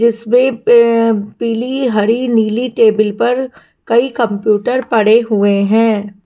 जिसमें पीली हरी नीली टेबल पर कई कंप्यूटर पड़े हुए हैं।